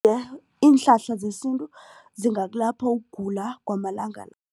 iinhlahla zesintu zingakulapha ukugula kwamalanga